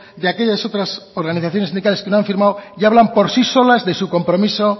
de aquellas otras organizaciones sindicales que no han firmado y que hablan por sí solas de su compromiso